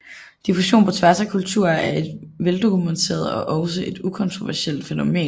Diffusion på tværs af kulturer er et vel dokumenteret og også et ukontroversielt fænomen